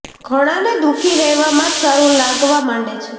ઘણાંને દુઃખી રહેવામાં જ સારું લાગવા માંડે છે